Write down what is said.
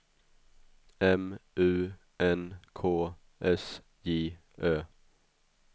M U N K S J Ö